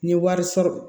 N ye wari sɔrɔ